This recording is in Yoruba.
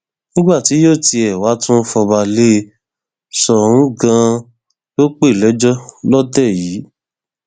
nígbà tí yóò tiẹ wáá tún fọba lé e soun ganan ló pè lẹjọ lọtẹ yìí